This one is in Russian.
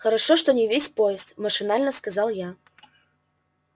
хорошо что не весь поезд машинально сказал я